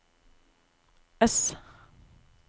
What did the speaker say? ess